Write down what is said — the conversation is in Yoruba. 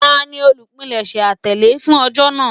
Tani olupilẹṣẹ atẹle fun ọjọ naa?